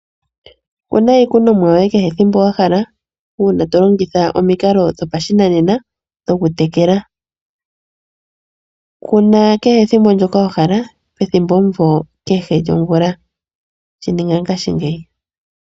Kuna iikunomwa yoye kehe ethimbo wahala uuna tolongitha omikalo dhopashinanena dhokutekela. Kuna kehe ethimbo ndyoka wahala pethimbomumvo kehe lyomvula, shininga ngashingeyi.